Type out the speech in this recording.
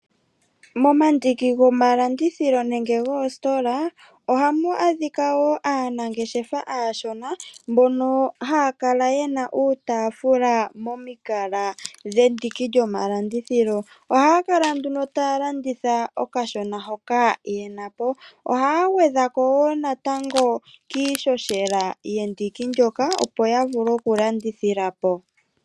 Momandiki gomalandithilo nenge goositola, ohamu adhika woo aanangeshefa aashona mbono haya kala yena uutaafula momikala dhendiki lyomalandithilo. Ohaya kala nduno ta ya landitha okashona hokaa yena po. Ohaya gwedha ko wo natango kiishoshela yendiki ndyoka opo ya vule oku landithila po.